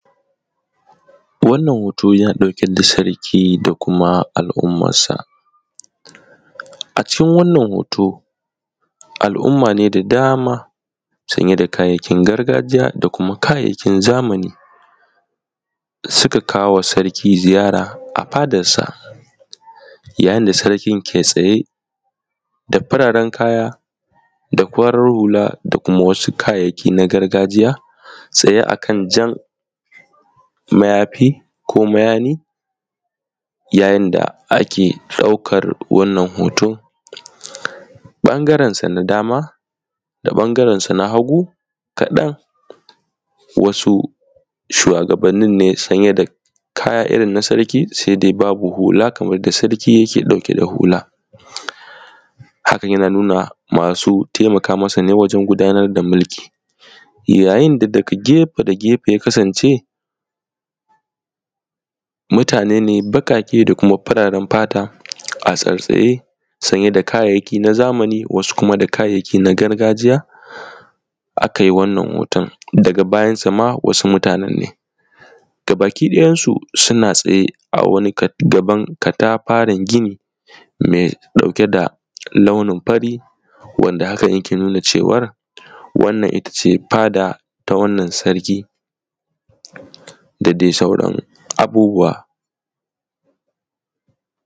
Wannan hoto yana ɗauke da Sarki da kuma al'ummansa. A cikin wannan hoto alumma ne da dama sanye da kayayyakin gargajiya da kuma kayayyakin zamani da suka kawo wa sarki ziyara a fadarsa, yayin da sarkin ke tsaye a sanye da fararen kaya da farar hula da kuma wasu kayayyakin gargajiya tsaye a kan jan mayafi ko mayani. Yayin da ake ɗaukar wannan hoto ɓangarensa na dama da kuma na hagu kaɗan wasu shuwagabannin ne sanye da kayan irin na sarki sai dai babu hula kamar yadda sarki yake sanye da hula. Hakan yana nuna masu taimaka masa ne wajen tafiyar da mulki, duk inda kake gefe da gefe ya kasance mutane ne baƙaƙe da kuma fararen fata a tsattsaye sanye da kayayyikinsu sanye da kayayyaki na gargajiya, a kai wannan hoto daga bayansa ma wasu mutane nan ne gabaki dayansu suna zaune a wani katafaren gini mai ɗauke da launin fari da ke nuna cewa ita ce fadan sarki da dai sauran abubuwa